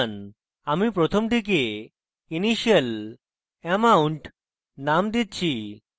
আমি প্রথমটিকে initial amount নাম দিচ্ছি